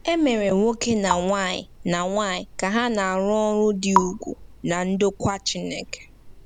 E mere nwoke na nwanyị na nwanyị ka ha na-arụ ọrụ dị ùgwù ná ndokwa Chineke